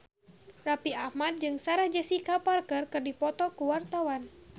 Raffi Ahmad jeung Sarah Jessica Parker keur dipoto ku wartawan